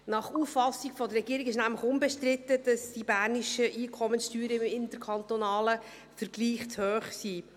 Nach Auffassung der Regierung ist nämlich unbestritten, dass die bernischen Einkommenssteuern im interkantonalen Vergleich zu hoch sind.